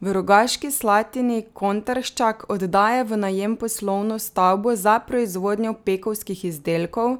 V Rogaški Slatini Kontarščak oddaja v najem poslovno stavbo za proizvodnjo pekovskih izdelkov,